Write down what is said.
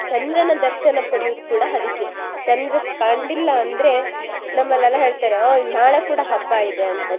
ಚಂದ್ರನ ದರ್ಶನ ಪಡಿಯುದ್ ಕೂಡ ಅದಿಕ್ಕೆ ಚಂದ್ರ ಕಂಡಿಲ್ಲ ಅಂದ್ರೆ ನಮ್ಮಲ್ಲೆಲ್ಲ ಹೇಳ್ತಾರೆ ಹೋ ನಾಳೆ ಕೂಡ ಹಬ್ಬಾ ಇದೆ ಅಂತ